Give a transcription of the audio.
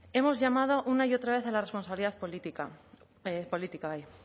hemos llamado una y otra vez a la responsabilidad política